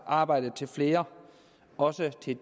arbejde til flere også til